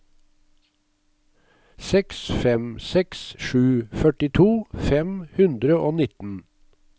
seks fem seks sju førtito fem hundre og nitten